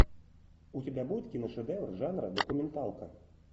у тебя будет киношедевр жанра документалка